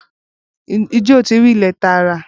Ǹjẹ́ oti ri ilẹ̀ táa rà?